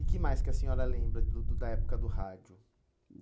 E que mais que a senhora lembra do do da época do rádio?